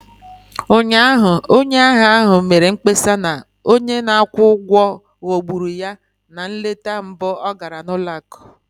Ụnyaahụ, onye ahịa ahụ mere mkpesa na onye na-akwụ ụgwọ ghọgburu ya na nleta mbụ ọ gara ụlọ akụ